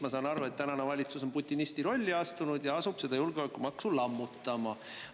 Ma saan aru, et tänane valitsus on putinisti rolli astunud ja asub seda julgeolekumaksu lammutama.